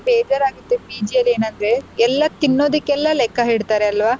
ಬೇಜಾರ್ ಆಗುತ್ತೆ PG ಅಲ್ಲಿ ಏನಂದ್ರೆ ಎಲ್ಲ ತಿನ್ನೋದಿಕ್ಕೆಲ್ಲ ಲೆಕ್ಕ ಇಡ್ತಾರಲ್ವಾ.